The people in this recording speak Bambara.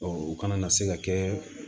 u kana na se ka kɛ